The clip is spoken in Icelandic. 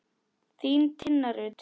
Þín, Tinna Rut.